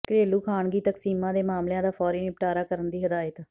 ਘਰੇਲੂ ਖਾਨਗੀ ਤਕਸੀਮਾਂ ਦੇ ਮਾਮਲਿਆਂ ਦਾ ਫੌਰੀ ਨਿਪਟਾਰਾ ਕਰਨ ਦੀ ਹਦਾਇਤ